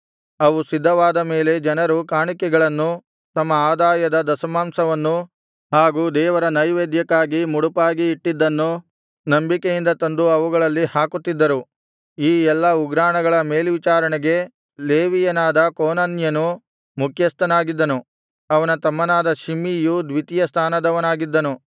ಅವು ಸಿದ್ಧವಾದ ಮೇಲೆ ಜನರು ಕಾಣಿಕೆಗಳನ್ನೂ ತಮ್ಮ ಆದಾಯದ ದಶಮಾಂಶವನ್ನೂ ಹಾಗು ದೇವರ ನೈವೇದ್ಯಕ್ಕಾಗಿ ಮುಡುಪಾಗಿ ಇಟ್ಟಿದ್ದನ್ನು ನಂಬಿಕೆಯಿಂದ ತಂದು ಅವುಗಳಲ್ಲಿ ಹಾಕುತ್ತಿದ್ದರು ಈ ಎಲ್ಲಾ ಉಗ್ರಾಣಗಳ ಮೇಲ್ವಿಚಾರಣೆಗೆ ಲೇವಿಯನಾದ ಕೋನನ್ಯನು ಮುಖ್ಯಸ್ಥನಾಗಿದ್ದನು ಅವನ ತಮ್ಮನಾದ ಶಿಮ್ಮಿಯು ದ್ವಿತೀಯ ಸ್ಥಾನದವನಾಗಿದ್ದನು